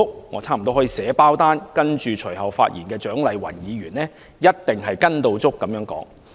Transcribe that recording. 我差不多可以保證，隨後發言的蔣麗芸議員一定說同樣的話。